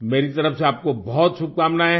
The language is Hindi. मेरी तरफ से आपको बहुत शुभकामनाएँ हैं